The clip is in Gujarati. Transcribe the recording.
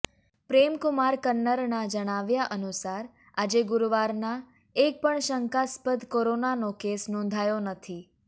પ્રેમકુમાર કન્નરનાં જણાવ્યા અનુસાર આજે ગુરુવારનાં એક પણ શંકાસ્પદ કોરોનાનો કેસ નોંધાયો નથી